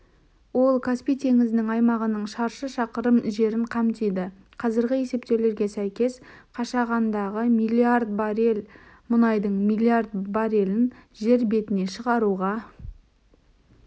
ол каспий теңізінің аймағының шаршы шақырым жерін қамтиды қазіргі есептеулерге сәйкес қашағандағы миллиард баррель мұнайдың миллиард баррелін жер бетіне шығаруға